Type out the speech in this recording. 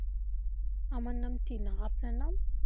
আমার নাম টিনা আপনার নাম?